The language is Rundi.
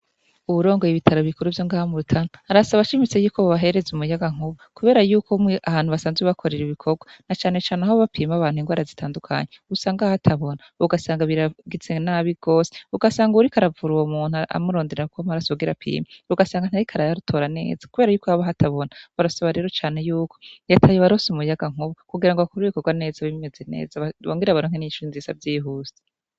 Uwurongoye ibitaro bikuru vyo ngaha mu Rutana arasaba ashimitse yuko bobahereza umuyaga nkuba kubera yuko umwe ahantu basanzwe bakorera ibikorwa na canecane aho bapima abantu ingwara zitandukanye usanga hatabona, ugasanga biragize n'abi gose ugasanga uwuriko aravura uwo muntu amurondererako amaraso kugira apime ugasanga ntariko arayatora neza kubera yuko haba hatabona, barasaba rero cane yuko reta yobaronsa umuyaga nkuba kugira ngo bakore ibikorwa neza bimeze neza bongere baronke n'inyishu nziza vyihuse.